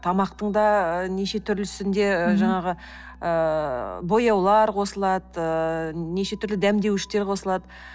тамақтың да нешетүрлісінде жаңағы ы бояулар қосылады нешетүрлі дәмдеуіштер қосылады